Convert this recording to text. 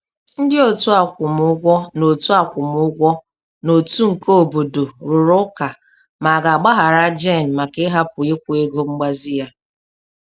Ndị otu akwụmugwọ n'otu akwụmugwọ n'otu nke obodo rụrụ ụka ma a ga-agbaghara Jane maka ịhapụ ikwụ ego mgbazi ya.